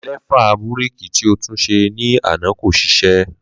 lefa búrèkì tí o tún ṣe ní àná kò ṣiṣẹ́